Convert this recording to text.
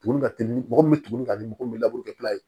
Tugunni ka teli mɔgɔ min tuguni ka di mɔgɔ min ye